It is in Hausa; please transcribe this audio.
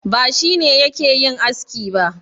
Ba shi ne yake yin aski ba.